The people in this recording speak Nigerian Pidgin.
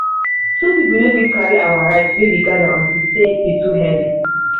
two people no fit carry our rice wey we gather unto say e e too heavy